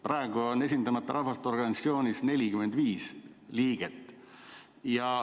Praegu on Esindamata Rahvaste Organisatsioonis 45 liiget.